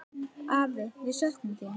Afi, við söknum þín.